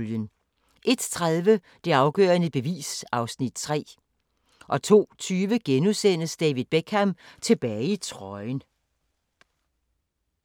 01:30: Det afgørende bevis (Afs. 3) 02:20: David Beckham - tilbage i trøjen *